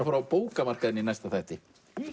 fara á bókamarkaðinn í næsta þætti